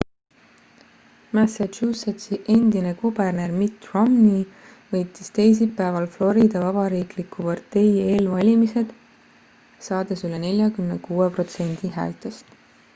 massachusettsi endine kuberner mitt romney võitis teisipäeval florida vabariikliku partei eelvalimised saades üle 46 protsendi häältest